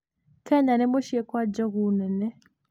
Kenya nĩ mũciĩ kwa njogu nene.